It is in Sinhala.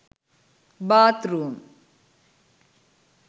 bath room